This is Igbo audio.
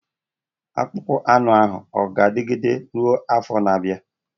Akpụkpọ anụ ahụ ọ ga-adịgide ruo afọ na-abịa?